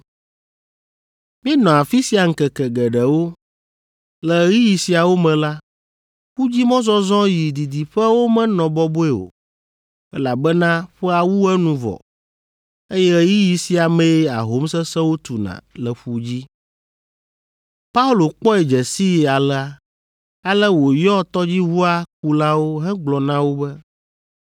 Míenɔ afi sia ŋkeke geɖewo. Le ɣeyiɣi siawo me la, ƒudzimɔzɔzɔ yi didiƒewo menɔ bɔbɔe o, elabena ƒea wu enu vɔ, eye ɣeyiɣi sia mee ahom sesẽwo tuna le ƒu dzi. Paulo kpɔe dze sii alea, ale wòyɔ tɔdziʋua kulawo hegblɔ na wo be,